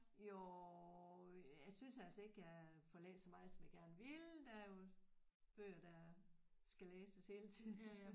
Jo jeg synes altså ikke jeg får læst så meget som jeg gerne ville der er jo bøger der skal læses hele tiden